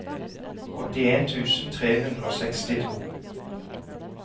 åttien tusen tre hundre og sekstito